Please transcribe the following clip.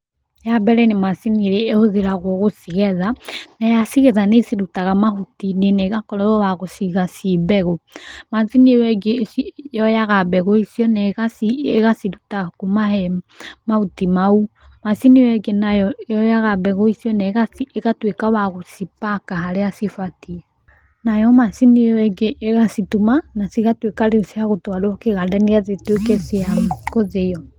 Ya mbere nĩ macini ĩrĩa ĩhũthagĩrwo gũcigetha, na yacigetha nĩ ĩcirutaga mahuti-inĩ na ĩgakorwo ya gũciga ciĩ mbegũ, macini ĩyo ĩngĩ yoyaga mbegũ icio na ĩgaciruta kuma he mahuti mau, macini ĩyo ĩngĩ yoyaga mbegũ icio na ĩgatuĩka ya gũcipaka harĩa cibatiĩ, nayo macini ĩyo ĩngĩ ĩgacituma na cigatuĩka rĩu cia gũtwarwo kĩganda nĩgetha ituĩke cia gũthĩo.